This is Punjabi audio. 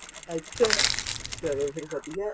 ਅੱਛਾ ਚਲੋਂ ਫ਼ੇਰ ਵਧੀਆ ਏ